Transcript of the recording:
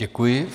Děkuji.